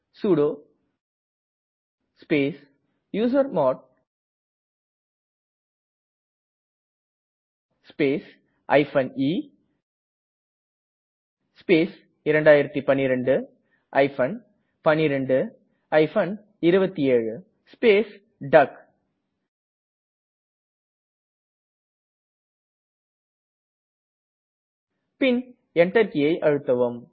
sudo space usermod space e space 2012 12 27 space டக் பின் Enter கீயை அழுத்தவும்